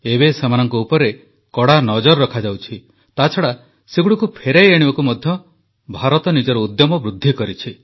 ଏବେ ସେମାନଙ୍କ ଉପରେ କଡ଼ା ନଜର ରଖାଯାଉଛି ତାଛଡ଼ା ସେଗୁଡ଼ିକୁ ଫେରାଇ ଆଣିବାକୁ ମଧ୍ୟ ଭାରତ ନିଜର ଉଦ୍ୟମ ବୃଦ୍ଧି କରିଛି